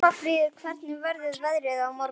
Pálmfríður, hvernig verður veðrið á morgun?